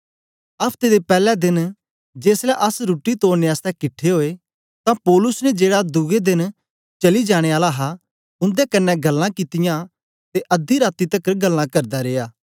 अफ्ते दे पैले देन जेसलै अस रुट्टी तोड़ने आसतै किट्ठे ओए तां पौलुस ने जेड़ा दुए देन चली जाने आला हा उन्दे कन्ने गल्लां कित्तियां ते अध्दी रातीं तकर गल्लां करदा रिया